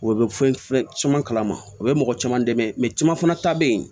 O bɛ fɛn caman kalama u bɛ mɔgɔ caman dɛmɛ caman fana ta bɛ yen